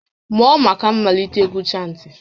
Mụọ maka mmalite égwú chantị!